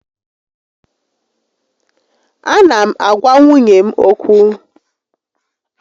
A na m agwa nwunye m ókwú